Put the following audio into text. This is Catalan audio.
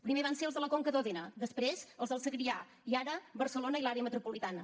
primer van ser els de la conca d’òdena després els del segrià i ara barcelona i l’àrea metropolitana